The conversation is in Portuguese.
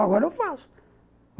Agora eu faço.